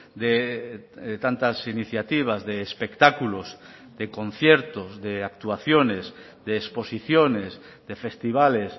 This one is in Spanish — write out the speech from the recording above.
de tantas iniciativas de espectáculos de conciertos de actuaciones de exposiciones de festivales